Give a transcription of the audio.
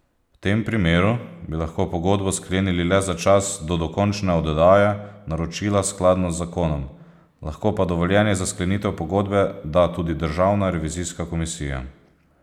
V tem primeru bi lahko pogodbo sklenili le za čas do dokončne oddaje naročila skladno z zakonom, lahko pa dovoljenje za sklenitev pogodbe da tudi Državna revizijska komisija.